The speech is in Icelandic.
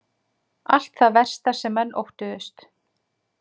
Allt það versta sem menn óttuðust